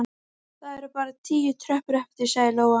Það eru bara tíu tröppur eftir, sagði Lóa.